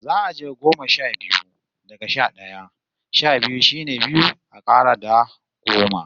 Za'a je goma sha biyu, daga sha d'aya. Sha biyu shine biyu a kara da goma.